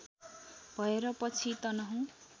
भएर पछि तनहुँ